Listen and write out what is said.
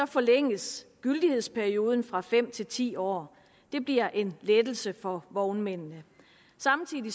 forlænges gyldighedsperioden fra fem til ti år det bliver en lettelse for vognmændene samtidig